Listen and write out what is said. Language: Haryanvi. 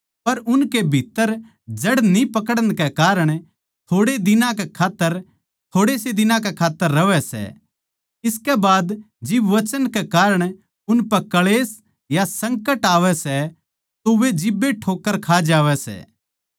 पर उनकै भीत्त्तर जड़ न्ही पकड़न कै कारण थोड़े से दिनां कै खात्तर रहै सै इसकै बाद जिब वचन कै कारण उनपै क्ळेश या संकट आवै सै तो वै जिब्बे ठोक्कर खा जावै सै